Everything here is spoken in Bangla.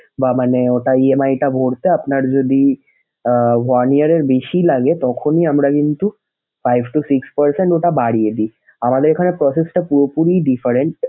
বা মানে ওটা EMI টা ভোরতে আপনার যদি আহ one year এর বেশি লাগে তখনই আমরা কিন্তু five to six percent ওটা বাড়িয়ে দিই। আমাদের এখানে process টা পুরোপুরি different ।